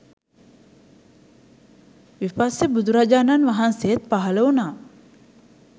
විපස්සී බුදුරජාණන් වහන්සේත් පහළ වුණා.